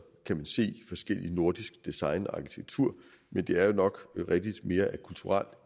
kan se forskelligt nordisk design og arkitektur men det er jo nok rigtigt at mere er af kulturel